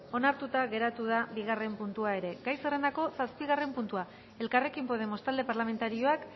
onartuta geratu da bigarren puntua ere gai zerrendako zazpigarren puntua elkarrekin podemos talde parlamentarioak